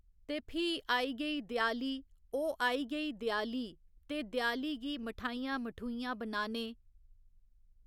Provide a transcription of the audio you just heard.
ते फ्ही आई गेई देआली ओह् आई गेई देआली ते देआली गी मठाइयां मठूइयां बनाने।